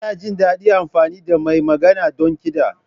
Ina jin daɗin amfani da mai magana don kiɗa.